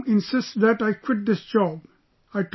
Now my mom insists that I quit this job